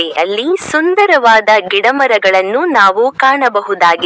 ಅಲ್ಲಿ ಸುಂದರವಾದ ಗಿಡ ಮರಗಳನ್ನು ನಾವು ಕಾಣಬಹುದಾಗಿ--